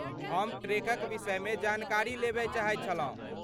हम ट्रेकक विषयमे जानकारी लेबय चाहैत छलहुँ।